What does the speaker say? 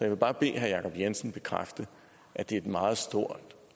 vil bare bede herre jacob jensen bekræfte at det er en meget stor